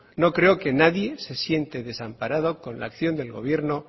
no creo que nadie se siente desamparado con la acción del gobierno